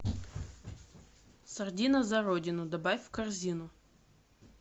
сардина за родину добавь в корзину